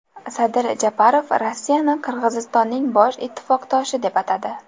Sadir Japarov Rossiyani Qirg‘izistonning bosh ittifoqdoshi deb atadi.